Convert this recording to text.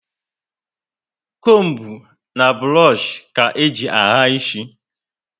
Combu na burush ka eji ahà isi